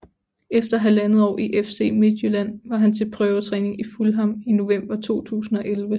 Efter halvandet år i FC Midtjylland var han til prøvetræning i Fulham i november 2011